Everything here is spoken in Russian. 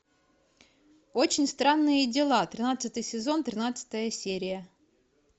очень странные дела тринадцатый сезон тринадцатая серия